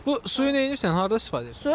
Bu suyu neynirsən, harda istifadə edirsən?